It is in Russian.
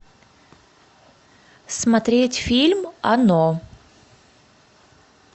смотреть фильм оно